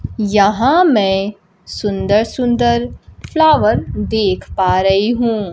यहां मैं सुंदर सुंदर फ्लावर देख पा रही हूं।